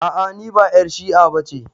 A a niba 'yar shi'a bace.